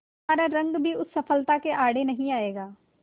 तुम्हारा रंग भी उस सफलता के आड़े नहीं आएगा